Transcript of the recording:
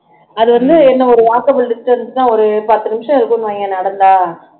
அது வந்து என்ன ஒரு walkable distance தான் ஒரு பத்து நிமிஷம் இருக்கும்னு வைங்க நடந்தா